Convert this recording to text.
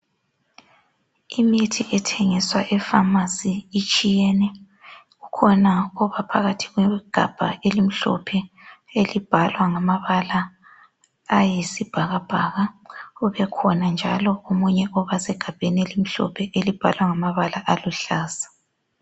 Imithi ethengiswa epharmacy itshiyene, kukhona obaphakathi kwegabha elimhlophe elibhalwa ngamabala ayisibhakabhaka kubekhona njalo omunye obasegabheni elimhlophe elibhalwe ngamabala aluhlaza